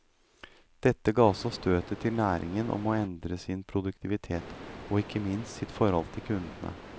Dette ga også støtet til næringen om å endre sin produktivitet, og ikke minst sitt forhold til kundene.